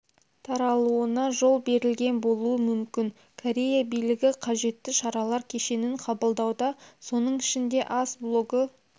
таралуына жол берілген болуы мүмкін корея билігі қажетті шаралар кешенін қабылдауда соның ішінде ас блогы